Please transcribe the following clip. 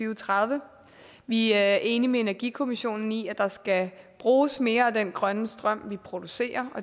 og tredive vi er enige med energikommissionen i at der skal bruges mere af den grønne strøm vi producerer